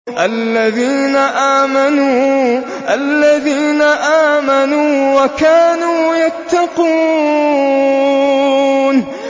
الَّذِينَ آمَنُوا وَكَانُوا يَتَّقُونَ